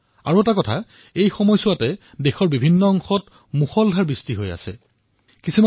দ্বিতীয়তে এয়াই সেই সময় যত দেশৰ বিভিন্ন অংশ অত্যাধিক মাত্ৰাত বৰষুণ হবলৈ ধৰিছে